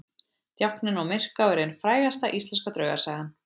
Djákninn á Myrká er ein frægasta íslenska draugasagan.